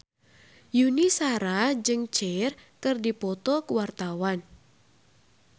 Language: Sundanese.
Yuni Shara jeung Cher keur dipoto ku wartawan